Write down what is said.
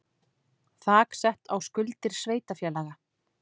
Þak sett á skuldir sveitarfélaga